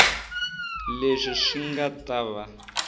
leswi swi nga ta va